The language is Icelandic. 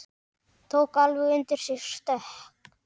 Tók alveg undir sig stökk!